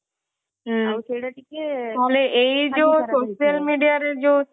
ହୁଁ ଆଉ ସେଇଟା ଟିକେ ଏଇ ଯୋଊ social media ରେ ଯୋଊ